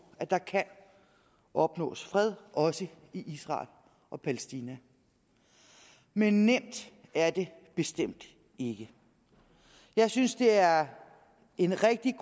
at der kan opnås fred også i israel og palæstina men nemt er det bestemt ikke jeg synes det er et rigtig